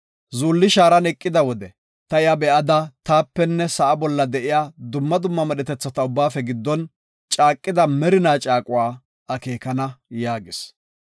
Zuulli shaaran eqida wode ta iya be7ada taapenne sa7a bolla de7iya dumma dumma medhetetha ubbaafe giddon caaqida merina caaquwa akeekana” yaagis.